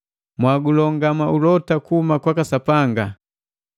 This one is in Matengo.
mwagulongama ulota kuhuma kwaka Sapanga.